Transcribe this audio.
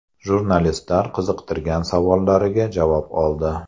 Jurnalistlar qiziqtirgan savollariga javob oldi.